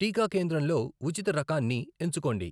టీకా కేంద్రంలో ఉచిత రకాన్ని ఎంచుకోండి.